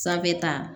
Sanfɛ ta